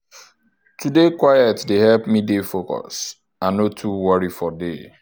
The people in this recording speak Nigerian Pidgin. to dey quiet dey help me dey focus and no too worry for day.